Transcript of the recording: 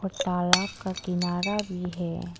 और तालाब का किनारा भी है।